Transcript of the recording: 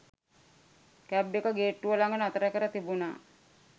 Cab එක ගේට්ටුව ළඟ නතර කර තිබුණා.